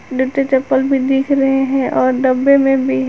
दु ठो चप्पल भी दिख रहे हैं और डब्बे में भी है।